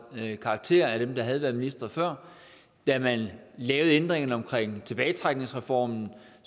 karakter for dem der havde været ministre før da man lavede ændringerne omkring tilbagetrækningsreformen